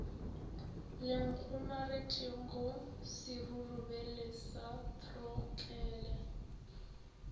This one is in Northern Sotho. le kgomaretšego serurubele sa throtlele